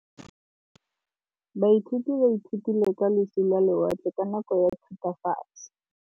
Baithuti ba ithutile ka losi lwa lewatle ka nako ya Thutafatshe.